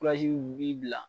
kurazi u b'i bila